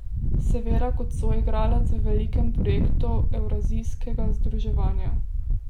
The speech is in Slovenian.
Seveda kot soigralec v velikem projektu evrazijskega združevanja.